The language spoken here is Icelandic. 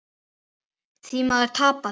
Því maður tapaði.